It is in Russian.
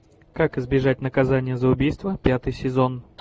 как избежать наказание за убийство пятый сезон